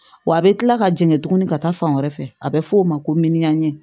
Wa a bɛ kila ka jigin tuguni ka taa fan wɛrɛ fɛ a bɛ f'o ma ko miyanin